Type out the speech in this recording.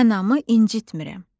Anamı incitmirəm.